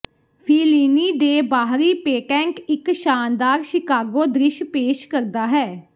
Fellini ਦੇ ਬਾਹਰੀ patent ਇੱਕ ਸ਼ਾਨਦਾਰ ਸ਼ਿਕਾਗੋ ਦ੍ਰਿਸ਼ ਪੇਸ਼ ਕਰਦਾ ਹੈ